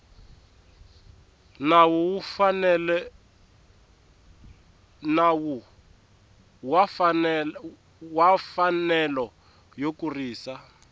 nawu wa mfanelo yo kurisa